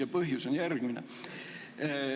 Ja põhjus on järgmine.